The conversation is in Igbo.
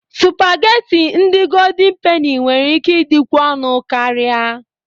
Sụpagheti ndị Goldin Peni nwere ike ịdịkwu ọnụ karịa.